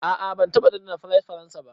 A'a ban taba dandana fries faransa ba.